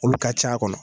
Olu ka c'a kɔnɔ